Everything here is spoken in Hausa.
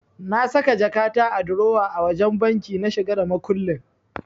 Na saka jakata a durowa a wajen banki na shiga da makullin.